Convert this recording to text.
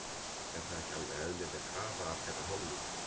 Er það ekki alveg eðlileg krafa af þeirra hálfu?